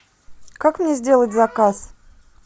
как мне сделать заказ